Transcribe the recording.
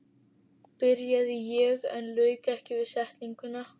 byrjaði ég, en lauk ekki við setninguna.